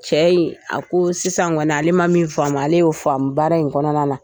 Cɛ in a ko sisan kɔni ale ma min faamu ale y'o faamu baara in kɔnɔna na